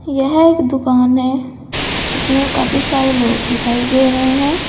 यह एक दुकान है इसमें काफी सारे लोग दिखाई दे रहे हैं।